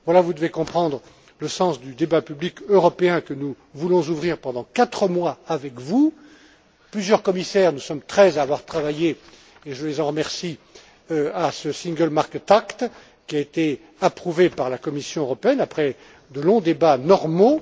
Voilà, vous devez comprendre le sens du débat public européen que nous voulons ouvrir pendant quatre mois avec vous, plusieurs commissaires, nous sommes 13 à avoir travaillé et je les en remercie à ce single market act qui a été approuvé par la Commission européenne, après de longs débats normaux.